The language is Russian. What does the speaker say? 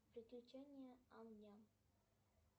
приключения ам няма